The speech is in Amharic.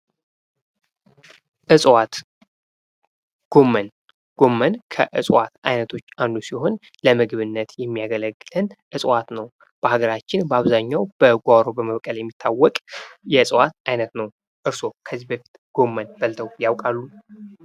እጽዋት ፦ ጎመን ፦ ጎመን ከእጽዋት አይነቶች አንዱ ሲሆን ለምግብነት የሚያገለግለን እፅዋት ነው ። በሀገራችን በአብዛኛው በጓሮአችን በመብቀል የሚታወቅ የእፅዋት አይነት ነው ። እርስዎ ከዚህ በፊት ጎመን በልተው ያውቃሉ ?